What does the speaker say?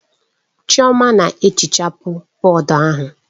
Chioma na-ehichapụ bọọdụ ahụ.